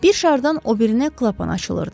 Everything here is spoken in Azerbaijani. Bir şardan o birinə klapan açılırdı.